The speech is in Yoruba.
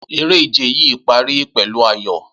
Eré ìje yìí pari pẹ̀lú ayọ̀